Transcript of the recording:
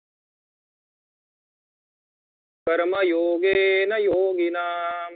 कर्मयोगेन योगिनाम